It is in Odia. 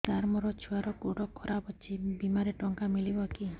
ସାର ମୋର ଛୁଆର ଗୋଡ ଖରାପ ଅଛି ବିମାରେ ଟଙ୍କା ମିଳିବ କି